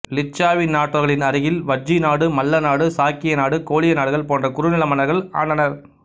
லிச்சாவி நாட்டவர்களின் அருகில் வஜ்ஜி நாடு மல்ல நாடு சாக்கிய நாடு கோலிய நாடுகள் போன்ற குறுநில மன்னர்கள் ஆண்டனர்